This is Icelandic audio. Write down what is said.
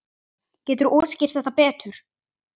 Geturðu útskýrt þetta betur?